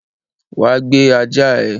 Wá gbé ajá ẹ!